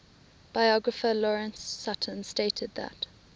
biographer lawrence sutin stated that